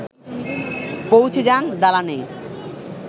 পৌঁছে যান দালানে